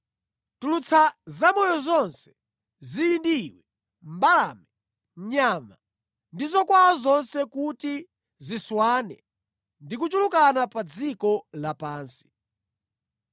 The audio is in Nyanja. Tulutsa zamoyo zonse zili ndi iwe, mbalame, nyama ndi zokwawa zonse kuti ziswane ndi kuchulukana pa dziko lapansi.”